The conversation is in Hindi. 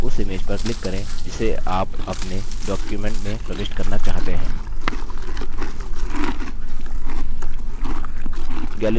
अब gallery जो image प्रदान करता है उनमें जाएँ और उस image पर click करें जिसे आप अपने document में प्रविष्ट करना चाहते हैं